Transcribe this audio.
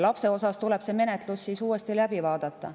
Lapse osas tuleb menetlus uuesti läbi vaadata.